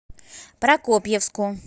прокопьевску